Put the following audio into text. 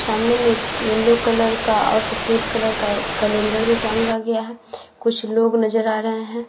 सामने में एक येलो कलर का और सफेद कलर का कैलेंडर भी टाँगा गया है। कुछ लोग नजर आ रहे हैं।